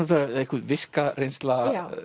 einhver viska reynsla